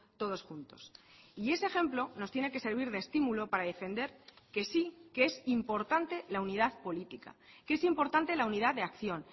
todos juntos y ese ejemplo nos tiene que servir de estímulo para defender que sí que es importante la unidad política que es importante la unidad de acción